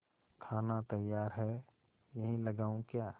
खाना तैयार है यहीं लगाऊँ क्या